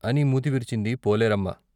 అని మూతి విరిచింది పోలేరమ్మ.